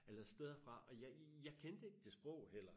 Eller steder fra og jeg jeg kendte ikke det sprog heller